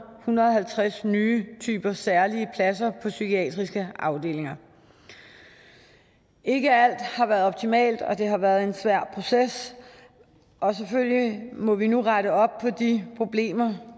hundrede og halvtreds nye typer særlige pladser på psykiatriske afdelinger ikke alt har været optimalt og det har været en svær proces og selvfølgelig må vi nu rette op på de problemer